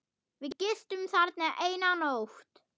Við gistum þarna eina nótt.